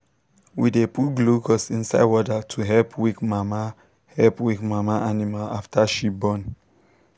we dey put glucose inside water to help weak mama help weak mama animal after she born.